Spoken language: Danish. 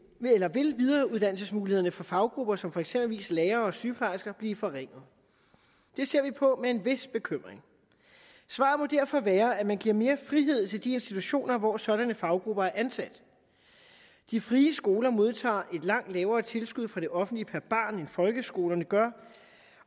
vil videreuddannelsesmulighederne for faggrupper som for eksempel lærere og sygeplejersker blive forringet det ser vi på med en vis bekymring svaret må derfor være at man giver mere frihed til de institutioner hvor sådanne faggrupper er ansat de frie skoler modtager et langt lavere tilskud fra det offentlige per barn end folkeskolerne gør